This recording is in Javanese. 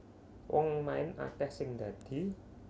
Wong main akeh sing ndadi